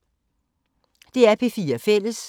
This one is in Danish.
DR P4 Fælles